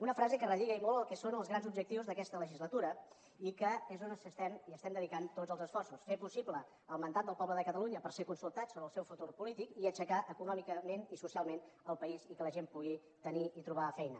una frase que relliga i molt el que són els grans objectius d’aquesta legislatura i que és on estem i hi estem dedicant tots els esforços fer possible el mandat del poble de catalunya per ser consultat sobre el seu futur polític i aixecar econòmicament i socialment el país i que la gent pugui tenir i trobar feina